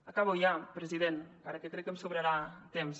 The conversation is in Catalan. acabo ja president encara que crec que em sobrarà temps